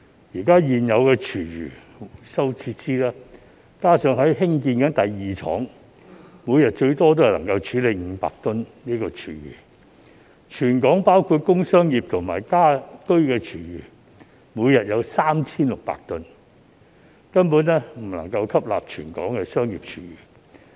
現有的廚餘回收設施，加上正在興建的第二廠，每天最多只能處理500公噸廚餘，全港包括工商業和家居廚餘每天則有 3,600 公噸，根本未能吸納全港的商業廚餘。